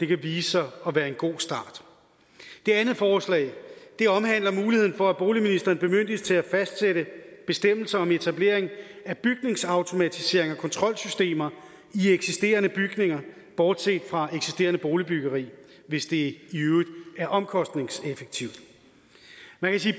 kan vise sig at være en god start det andet forslag omhandler muligheden for at boligministeren bemyndiges til at fastsætte bestemmelser om etablering af bygningsautomatiseringer og kontrolsystemer i eksisterende bygninger bortset fra eksisterende boligbyggeri hvis det i øvrigt er omkostningseffektivt